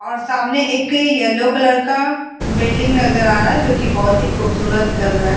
और सामने एक येलो कलर का बिल्डिंग नज़र आ रहा है जोकि बहोत ही खूबसूरत लग रहा है।